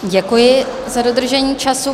Děkuji za dodržení času.